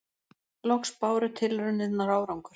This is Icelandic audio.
Loks báru tilraunirnar árangur.